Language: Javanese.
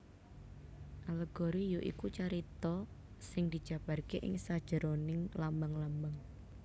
Alegori ya iku carita sing dijabarké ing sajeroning lambang lambang